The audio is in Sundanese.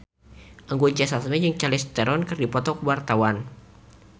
Anggun C. Sasmi jeung Charlize Theron keur dipoto ku wartawan